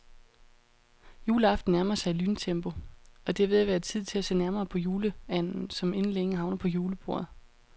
Juleaften nærmer sig i lyntempo, og det er ved at være tid til at se nærmere på juleanden, som inden længe havner på julebordet.